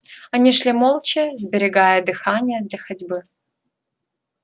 они шли молча сберегая дыхание для ходьбы